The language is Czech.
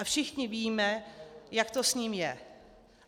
A všichni víme, jak to s ním je.